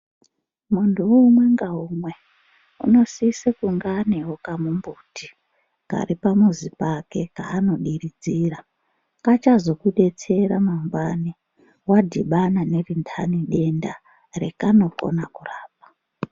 Muntu umwe naumwe anosisa kunge ane kambuti karipamuzi pake kanodiridzira kacha zokudetsera mangwani wadhibana nedenda rekanokona kurapa.